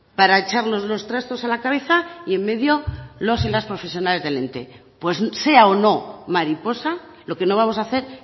para echarnos los trastos a la cabeza y en medio los y las profesionales del ente pues sea o no mariposa lo que no vamos a hacer